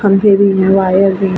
Wire भी है।